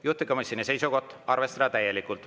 Juhtivkomisjoni seisukoht on arvestada täielikult.